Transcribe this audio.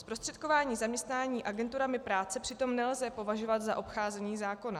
Zprostředkování zaměstnání agenturami práce přitom nelze považovat za obcházení zákona.